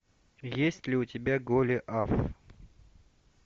есть ли у тебя голиаф